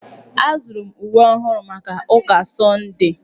Azụrụ m uwe ọhụrụ maka ụka sọndee.